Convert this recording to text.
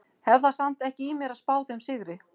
Hef það samt ekki í mér að spá þeim sigri.